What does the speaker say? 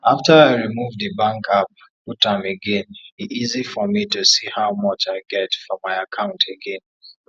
after i remove the bank app put am again e easy for me to see how much i get for my account again